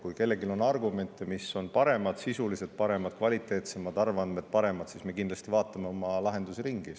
Kui kellelgi on argumente, mis on paremad, sisuliselt paremad, kvaliteetsemad, arvandmed paremad, siis me kindlasti vaatame oma lahendusi.